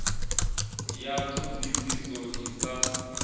ya ṱho ḓisiso i sa